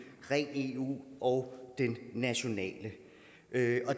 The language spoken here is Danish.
ren eu og den nationale det